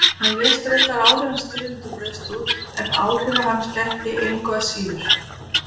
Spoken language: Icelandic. Hann lést reyndar áður en styrjöldin braust út en áhrifa hans gætti engu að síður.